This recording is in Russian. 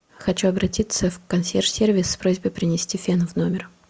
хочу обратиться в консьерж сервис с просьбой принести фен в номер